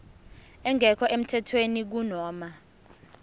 engekho emthethweni kunoma